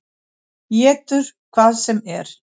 Étur hvað sem er.